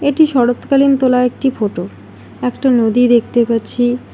এটি শরৎকালীন তোলা একটি ফটো একটা নদী দেখতে পাচ্ছি।